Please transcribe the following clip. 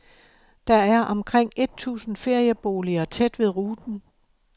Der er omkring et tusind ferieboliger tæt ved ruten.